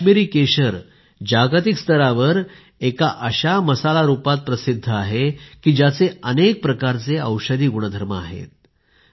काश्मिरी केशर जागतिक स्तरावर एक असा मसाला म्हणून प्रसिद्ध आहे ज्याचे अनेक प्रकारचे औषधी गुण आहेत